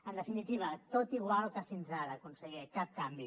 en definitiva tot igual que fins ara conseller cap canvi